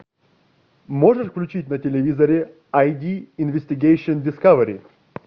можешь включить на телевизоре ай ди инвестигейшн дискавери